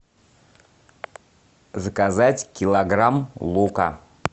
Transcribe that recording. заказать килограмм лука